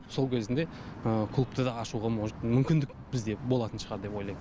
сол кезінде клубты да ашуға может мүмкіндік бізде болатын шығар деп ойлайм